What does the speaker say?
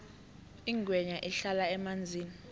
ingwenya ihlala emanzini